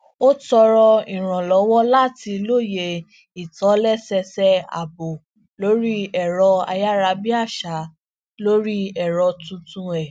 ó tọrọ ìrànlọwọ láti lóye ìtòlésẹẹsẹ ààbò lorí ẹrọ ayarabiaṣa lórí èrọ tuntun è